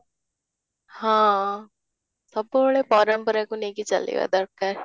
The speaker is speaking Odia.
ହଁ, ସବୁବେଳେ ପରମ୍ପରାକୁ ନେଇ ଚାଲିବ ଦରକାର